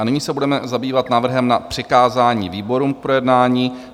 A nyní se budeme zabývat návrhem na přikázání výborům k projednání.